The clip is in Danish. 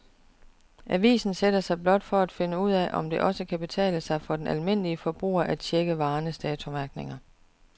Avisen sætter sig blot for at finde ud af, om det også kan betale sig for den almindelige forbruger at checke varernes datomærkning.